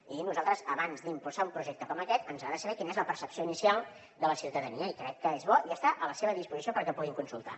i nosaltres abans d’impulsar un projecte com aquest ens agrada saber quina és la percepció inicial de la ciutadania i crec que és bo i està a la seva disposició perquè el puguin consultar